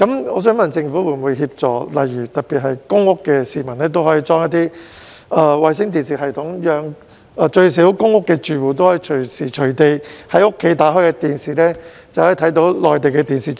我想問政府會否協助，特別是居於公共租住房屋的市民，安裝衞星電視系統，讓公屋住戶可隨時在家開啟電視便能收看內地電視節目。